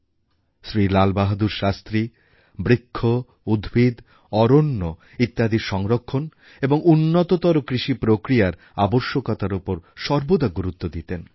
শ্রী লালবাহাদুর শাস্ত্রী বৃক্ষ উদ্ভিদ অরণ্য ইত্যাদির সংরক্ষণ এবং উন্নততর কৃষিপ্রক্রিয়ার আবশ্যকতার উপর সর্বদা গুরুত্ব দিতেন